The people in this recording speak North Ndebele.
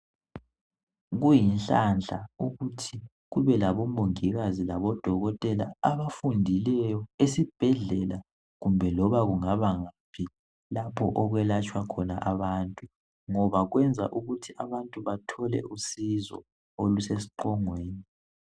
Kuyinhlanhla ukuthi kube labomongikazi labodokotela abafundileyo esibhedlela kumbe loba kungabangaphi lapho okwelatshwa khona abantu ngoba kwenza ukuthi abantu bathole usizo olusesiqongweni.